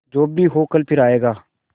जो भी हो कल फिर आएगा